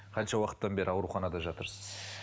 қанша уақыттан бері ауруханада жатырсыз